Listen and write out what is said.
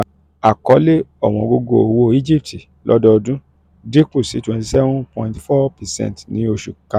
akọle ọ̀wọ́ngógó owo cs] egypt lodoodun dinku si twenty-seven point four percent ni oṣu karun.